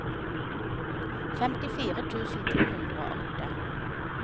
femtifire tusen to hundre og åtte